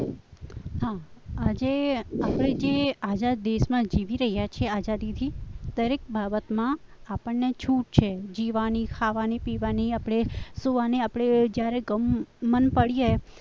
હા આજે જે આપણે જે આઝાદ દેશમાં જીવી રહ્યા છીએ આઝાદીથી દરેક બાબતમાં આપણને છૂટ છે જીવવાની ખાવાની પીવાની આપણે સુવાની આપણે જ્યારે ગમન પડીએ